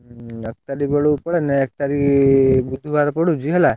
ହୁଁ ଏକ ତାରିଖ ବେଳକୁ ପଳେଇଲେ, ଏକତାରିଖ ବୁଧବାର ପଡୁଛି ହେଲା।